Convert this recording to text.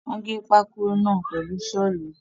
Wọ́n gé pákó náà pẹ̀lú Ṣọ́ọ̀lù.